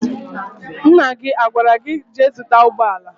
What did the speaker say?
Nna gị agwara gị, jee zụta ụgbọala?